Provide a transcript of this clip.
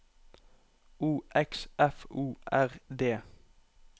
O X F O R D